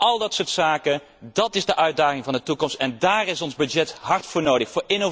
Al dat soort zaken vormt de uitdaging van de toekomst en daar is ons budget hard voor nodig.